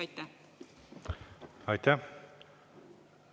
Aitäh!